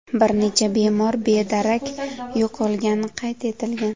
Bir necha bemor bedarak yo‘qolgani qayd etilgan.